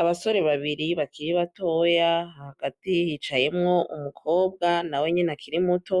Abasore babiri bakiri batoya hagati yicayemwo umukobwa na we nyene akiri muto